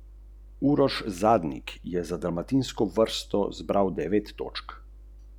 Novomeščani so Cedevito že oktobra v gosteh presenetljivo premagali za točko.